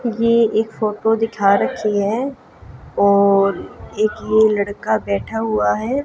ये एक फोटो दिखा रखी है और एक ये लड़का बैठा हुआ है।